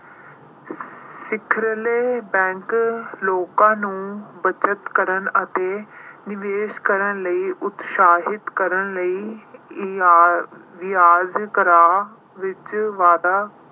ਸਿਖਰਲੇ bank ਲੋਕਾਂ ਨੂੰ ਬੱਚਤ ਕਰਨ ਅਤੇ ਨਿਵੇਸ਼ ਕਰਨ ਲਈ ਉਤਸ਼ਾਹਿਤ ਕਰਨ ਲਈ ਵਿਆ ਅਹ ਵਿਆਜ਼ ਦਰਾਂ ਵਿੱਚ ਵਾਧਾ